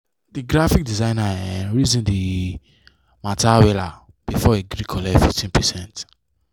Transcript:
the graphic designer um reason the um matter weller before e gree collect 15%